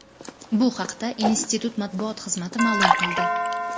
Bu haqda institut matbuot xizmati ma’lum qildi .